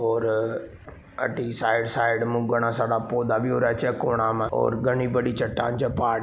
और अ अटी साइड साइड मा घना सारा पौधा भी हो रहे छे खुणा मा और घनी बड़ी चट्टान छे पहाड़ --